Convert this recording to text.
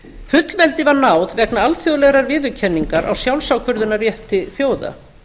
fullveldi var náð vegna alþjóðlegrar viðurkenningar á sjálfsákvörðunarrétti þjóða